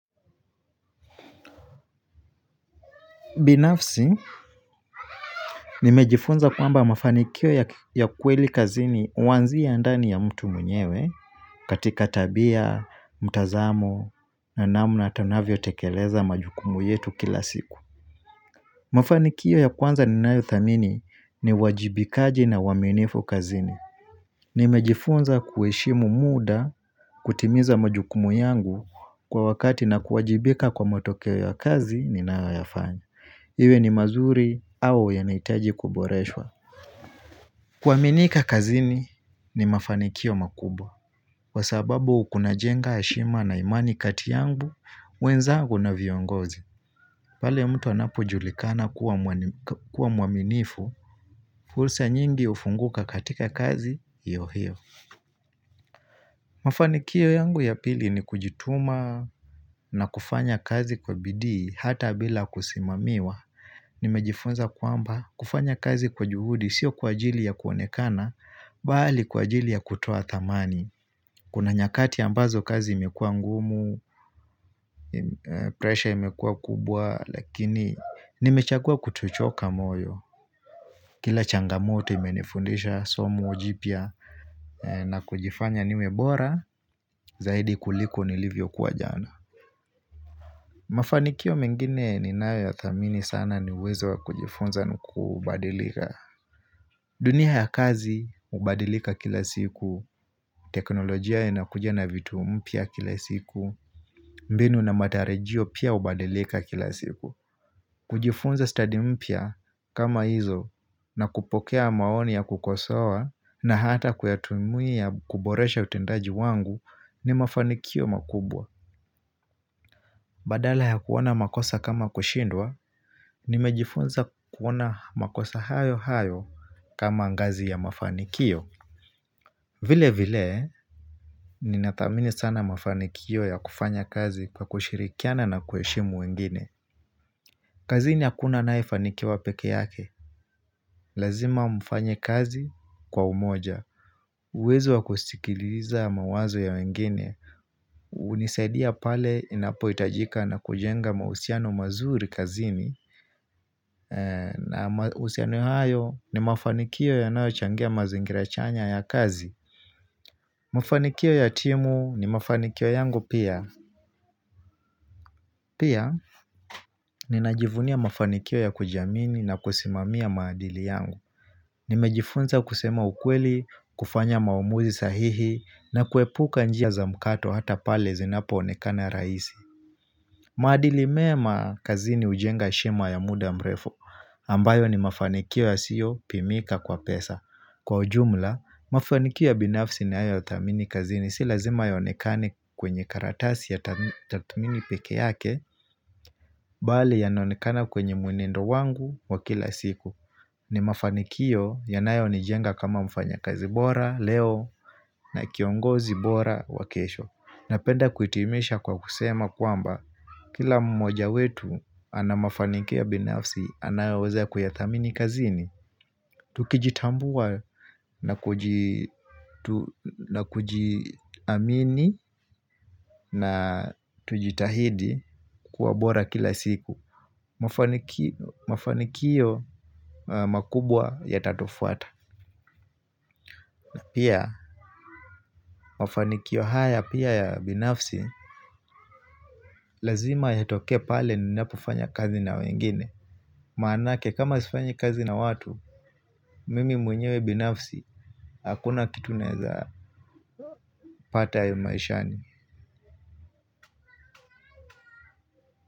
Binafsi, nimejifunza kwamba mafanikio ya kweli kazini huanzia ndani ya mtu mwenyewe katika tabia, mtazamo, na namna tunavyotekeleza majukumu yetu kila siku. Mafanikio ya kwanza ninayo thamini ni uwajibikaji na uaminifu kazini. Nimejifunza kuheshimu muda kutimiza majukumu yangu kwa wakati na kuwajibika kwa motokeo ya kazi ninayoyafanya. Iwe ni mazuri au yanahitaji kuboreshwa. Kuaminika kazini ni mafanikio makubwa. Kwasababu kunajenga heshima na imani kati yangu, wenzangu na viongozi. Pale mtu anapojulikana kuwa muaminifu, fursa nyingi hufunguka katika kazi hiyo hiyo Mafanikio yangu ya pili ni kujituma na kufanya kazi kwa bidii, hata bila kusimamiwa. Nimejifunza kwamba kufanya kazi kwa juhudi sio kwa ajili ya kuonekana bali kwa ajili ya kutoa thamani Kuna nyakati ambazo kazi imekua ngumu Pressure imekua kubwa Lakini nimechagua kutuchoka moyo. Kila changamoto imenifundisha somo jipia na kujifanya niwebora Zaidi kuliko nilivyo kwa jana. Mafanikio mengine ninayo ya thamini sana ni uwezo wa kujifunza kubadilika dunia ya kazi, hubadilika kila siku, teknolojia ya nakuja na vitu mpia kila siku, mbinu na matarejio pia hubadilika kila siku. Kujifunza study mpia kama hizo na kupokea maoni ya kukosoa na hata kuyatumia kuboresha utendaji wangu ni mafanikio makubwa. Badala ya kuona makosa kama kushindwa, nimejifunza kuona makosa hayo hayo kama angazi ya mafanikio. Vile vile, ninadhamini sana mafanikio ya kufanya kazi kwa kushirikiana na kueshimu wengine. Kazini akuna anayefanikiwa peke yake, lazima mfanye kazi kwa umoja. Uwezo wa kustikiliza mawazo ya wengine, unisaidia pale inapo itajika na kujenga mausiano mazuri kazini na usiano hayo ni mafanikio ya nao changia mazingira chanya ya kazi Mafanikio ya timu ni mafanikio yangu pia Pia ni najivunia mafanikio ya kujamini na kusimamia maadili yangu. Nimejifunza kusema ukweli, kufanya maomuzi sahihi na kuepuka njia zamkato hata pale zinapo onekana raisi. Maadili meema kazini ujenga shema ya muda mrefu ambayo ni mafanikio ya sio pimika kwa pesa Kwa ujumla, mafanikio ya binafsi ninayo thamini kazini si lazima yonekani kwenye karatasi ya tatumini peke yake. Bali yanaonekana kwenye mwenendo wangu wa kila siku. Ni mafanikio yanayo ni jenga kama mfanya kazi bora leo na kiongozi bora wakesho Napenda kuitimisha kwa kusema kwamba kila mmoja wetu anamafanikio ya binafsi anayoweza kuyathamini kazini. Tukijitambua na kujiamini na tujitahidi kuwabora kila siku Mafanikiyo makubwa yatatufuata. Pia mafanikiyo haya pia ya binafsi. Lazima ya toke pale ni napofanya kazi na wengine. Maanake kama sifanyi kazi na watu Mimi mwenyewe binafsi Hakuna kitu naeza pata ya maishani.